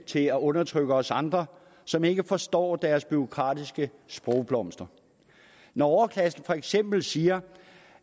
til at undertrykke os andre som ikke forstår deres bureaukratiske sprogblomster når overklassen for eksempel siger